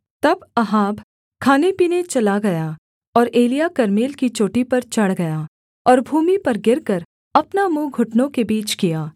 तब अहाब खानेपीने चला गया और एलिय्याह कर्मेल की चोटी पर चढ़ गया और भूमि पर गिरकर अपना मुँह घुटनों के बीच किया